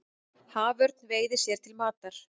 Haförn veiðir sér til matar.